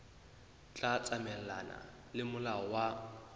tla tsamaelana le molao wa